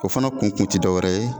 O fana kun kun tɛ dɔ wɛrɛ ye